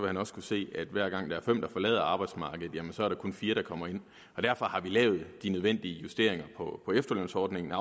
han også kunne se at hver gang der er fem der forlader arbejdsmarkedet så er der kun fire der kommer ind derfor har vi lavet de nødvendige justeringer af efterlønsordningen